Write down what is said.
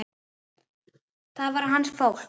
Það var hans fólk.